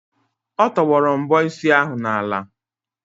Ọ tọgbọrọ mbọ isi ahụ n'ala.